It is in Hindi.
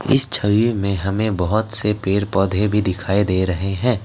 इस छवि में हमें बहोत से पेर पौधे भी दिखाई दे रहे हैं।